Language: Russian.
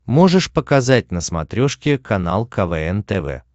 можешь показать на смотрешке канал квн тв